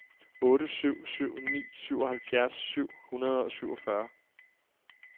otte syv syv ni syvoghalvfjerds syv hundrede og syvogfyrre